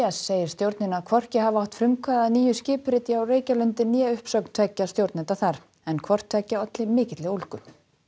segir stjórnina hvorki hafa átt frumkvæði að nýju skipuriti á Reykjalundi né uppsögn tveggja stjórnenda þar en hvort tveggja olli mikilli ólgu